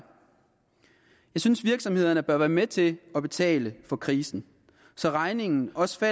synes virksomhederne bør være med til at betale for krisen så regningen også